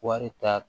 Wari ta